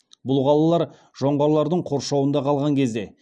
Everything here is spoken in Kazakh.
бұл қалалар жоңғарлардың қоршауында қалған кезде